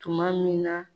Tuma min na